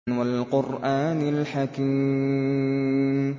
وَالْقُرْآنِ الْحَكِيمِ